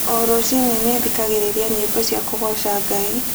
O rũcinĩ nĩ thikagĩrĩria nyĩmbo cia kũgooca Ngai.